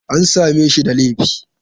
An same shi da laifi?